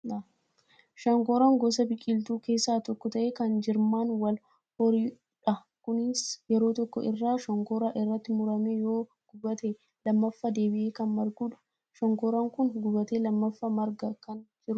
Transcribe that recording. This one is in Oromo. Shonkoraan gosa biqiltuu keessaa tokko ta'ee kan jirmaan wal horuydha. Kunisii yeroo tokko irraa shonkoraan irratti murame yoo gubate, lammaffaa deebi'ee kan margudha. Shonkoraan kun gubatee lammaffaa margaa kan jirudha.